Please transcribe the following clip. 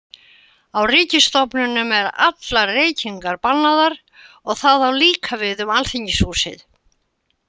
Á ríkisstofnunum eru allar reykingar bannaðar og það á líka við um Alþingishúsið.